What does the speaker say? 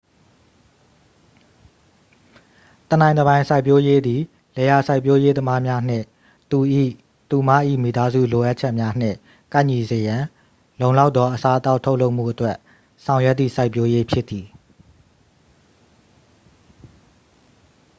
တစ်နိုင်တစ်ပိုင် စိုက်ပျိုးရေးသည် လယ်ယာစိုက်ပျိုးရေးသမားများနှင့် သူ၏/သူမ၏ မိသားစု လိုအပ်ချက်များနှင့် ကိုက်ညီစေရန် လုံလောက်သော အစားအသောက် ထုတ်လုပ်မှုအတွက် ဆောင်ရွက်သည့် စိုက်ပျိုးရေး ဖြစ်သည်။